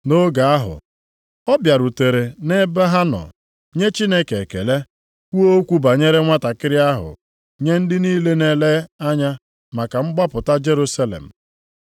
Nʼoge ahụ ọ bịarutere nʼebe ha nọ, nye Chineke ekele, kwuo okwu banyere nwantakịrị ahụ nye ndị niile na-ele anya maka mgbapụta Jerusalem.